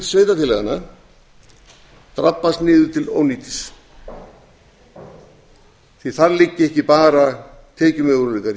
á ábyrgð sveitarfélaganna drabbast niður til ónýtis því að þar liggja ekki bara tekjumöguleikar